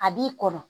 A b'i kɔnɔ